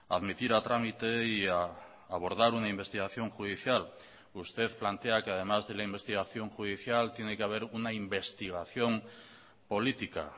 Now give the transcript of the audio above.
admitir a trámite y a abordar una investigación judicial usted plantea que además de la investigación judicial tiene que haber una investigación política